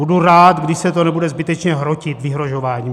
Budu rád, když se to nebude zbytečně hrotit vyhrožováním.